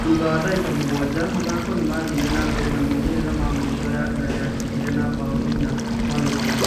Thutha wa dagĩka mũgwaja, Mathako nĩmathire na mbere na maũmĩrĩra ma mũico Yanga nĩyacindire na mbao inya. gwa gĩbugũ.